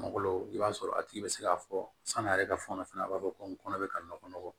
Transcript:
Malo i b'a sɔrɔ a tigi bɛ se k'a fɔ san'a yɛrɛ ka fɔnɔ fɛnɛ a b'a fɔ ko n kɔnɔ bɛ ka nɔgɔ